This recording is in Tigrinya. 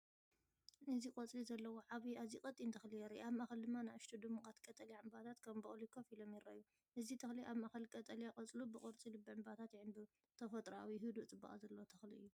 እዚ ቆጽሊ ዘለዎ ዓቢ ኣዝዩ ቀጢን ተኽሊ የርኢ። ኣብ ማእከል ድማ ንኣሽቱ ድሙቓት ቀጠልያ ዕምባባታት ከም ቡቕሊ ኮፍ ኢሎም ይረኣዩ። እዚ ተኽሊ ኣብ ማእከል ቀጠልያ ቆጽሉ ብቅርጺ ልቢ ዕምባባታት ይዕምብብ። ተፈጥሮኣዊ፡ ህዱእ ጽባቐ ዘለዎ ተኽሊ እዩ።